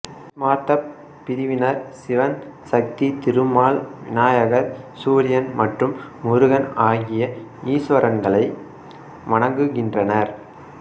ஸ்மார்த்தப் பிரிவினர் சிவன் சக்தி திருமால் விநாயகர் சூரியன் மற்றும் முருகன் ஆகிய ஈஸ்வரன்களை வணங்குகின்றனர்